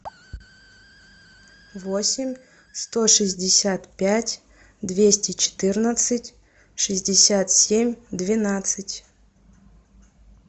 восемь сто шестьдесят пять двести четырнадцать шестьдесят семь двенадцать